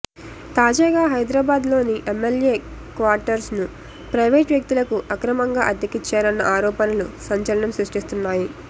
తాజాగా హైదరాబాద్లోని ఎమ్మెల్యే క్వార్టర్స్ను ప్రైవేటు వ్యక్తులకు అక్రమంగా అద్దెకిచ్చారన్న ఆరోపణలు సంచలనం సృష్టిస్తున్నాయి